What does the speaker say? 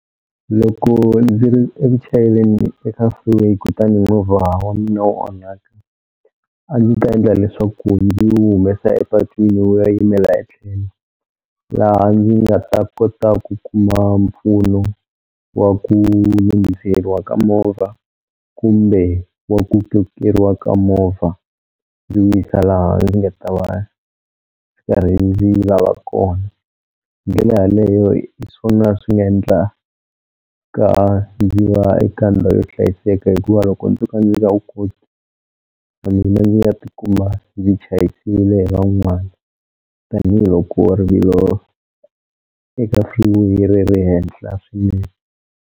Loko ndzi ri eku chayeleni eka freeway kutani movha wa mina wu onhaka a ndzi ta endla leswaku ndzi wu humesa epatwini wu ya yimela etlhelo laha ndzi nga ta kota ku kuma mpfuno wa ku lunghiseriwa ka movha kumbe wa ku kokeriwa ka movha ndzi wu yisa laha ndzi nga ta va va rheyili va va kona. Hi ndlela yaleyo hi swona swi nga endlaka ndzi va eka ndhawu yo hlayiseka hikuva loko ndzo ka ndzi nga wu koti na mina ndzi nga tikuma ndzi chayisile hi van'wana tanihiloko rivilo eka freeway ri ri henhla swinene.